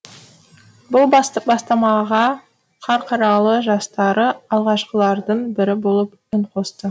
бұл бастамаға қарқаралы жастары алғашқылардың бірі болып үн қосты